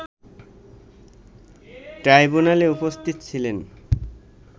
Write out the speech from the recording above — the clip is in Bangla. ট্রাইবুনালে উপস্থিত ছিলেন